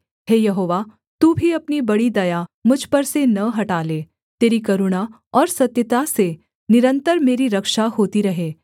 हे यहोवा तू भी अपनी बड़ी दया मुझ पर से न हटा ले तेरी करुणा और सत्यता से निरन्तर मेरी रक्षा होती रहे